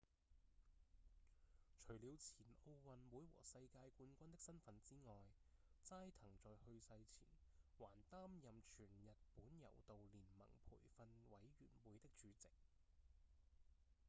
除了前奧運會和世界冠軍的身份之外齋藤在去世前還擔任全日本柔道連盟培訓委員會的主席